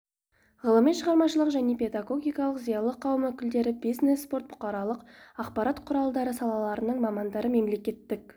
ғылыми-шығармашылық және педогогикалық зиялы қауым өкілдері бизнес спорт бұқаралық ақпарат құралдары салаларының мамандары мемлекеттік